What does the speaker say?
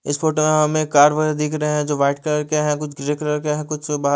इस फोटो में हमें कार वाले दिख रहे है जो वाइट कलर के है कुछ ग्रे कलर के है कुछ बाहर --